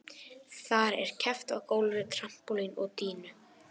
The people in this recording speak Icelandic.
Þar er keppt á gólfi, trampólíni og dýnu.